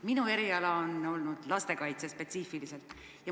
Minu eriala on olnud spetsiifiliselt lastekaitse.